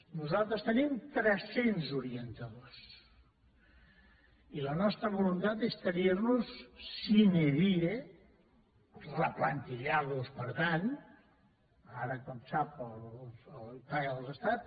nosaltres tenim tres cents orientadors i la nostra voluntat és tenir los sine dietant ara com sap els paga l’estat